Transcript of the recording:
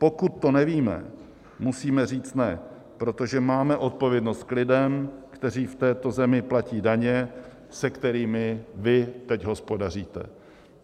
Pokud to nevíme, musíme říct ne, protože máme odpovědnost k lidem, kteří v této zemi platí daně, se kterými vy teď hospodaříte.